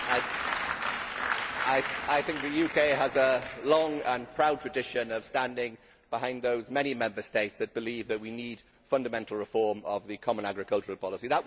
Mr President, I think the UK has a long and proud tradition of standing behind those many Member States which believe that we need fundamental reform of the common agricultural policy.